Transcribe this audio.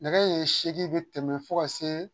Nɛgɛ ye seegin be tɛmɛ fo ka see